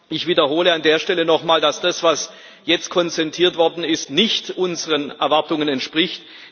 Ich wiederhole an der Stelle noch einmal, dass das, was jetzt konzertiert worden ist, nicht unseren Erwartungen entspricht.